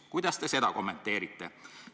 " Kuidas te seda kommenteerite?